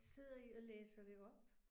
Sidder I og læser det op?